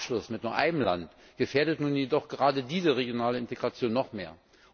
Ein Abschluss mit nur einem Land gefährdet nun jedoch gerade diese regionale Integration noch mehr.